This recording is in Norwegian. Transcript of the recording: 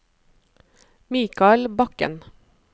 Mikael Bakken